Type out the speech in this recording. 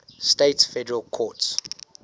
states federal courts